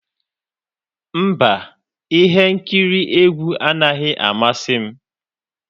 Mba, ihe nkiri egwu anaghị amasị m.